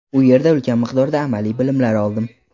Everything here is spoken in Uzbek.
U yerda ulkan miqdorda amaliy bilimlar oldim.